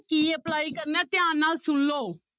ਕੀ apply ਕਰਨਾ ਹੈ ਧਿਆਨ ਨਾਲ ਸੁਣ ਲਓ।